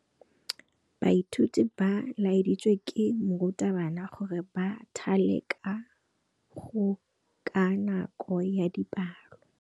Baithuti ba laeditswe ke morutabana gore ba thale kagô ka nako ya dipalô.